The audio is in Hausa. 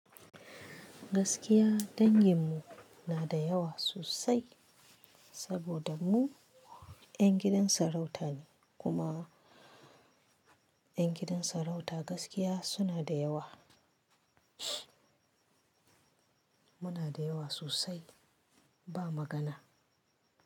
Gaskiya dangin mu na da yawa sosai saboda mu 'yan gidan sarauta ne kuma 'yan gidan sarauta gaskiya suna da yawa. Muna da yawa sosai ba magana.